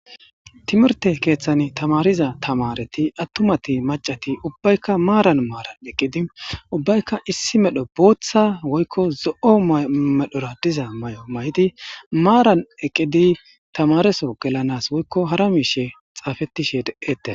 Timirte keeththan tamariza tamareti attumati macati ubbaykka maaran maaran eqqidi ubbaykka issi medho booththa woykko zo7o medhora diza may7o may7di maaran eqqidi tamareso gelanas woykko hara miishe xaafettishe deette